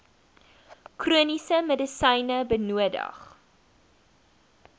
chroniese medisyne benodig